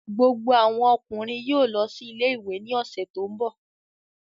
Gbogbo àwọn ọkùnrin yóò lọ sí ilé-ìwé ní ọ̀sẹ̀ tó ń bọ̀